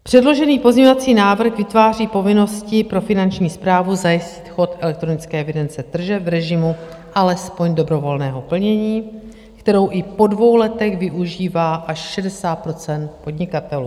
Předložený pozměňovací návrh vytváří povinnosti pro Finanční správu zajistit chod elektronické evidence tržeb v režimu alespoň dobrovolného plnění, kterou i po dvou letech využívá až 60 % podnikatelů.